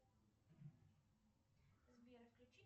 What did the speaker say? сбер включи